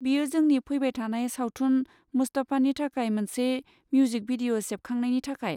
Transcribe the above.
बियो जोंनि फैबाय थानाय सावथुन 'मुस्तफा'नि थाखाय मोनसे मिउजिक भिडिअ' सेबखांनायनि थाखाय।